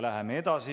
Läheme edasi.